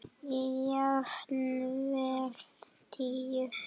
Jafnvel tíu.